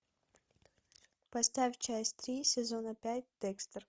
поставь часть три сезона пять декстер